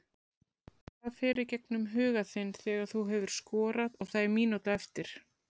Hvað fer í gegnum huga þinn þegar þú hefur skorað og það er mínúta eftir?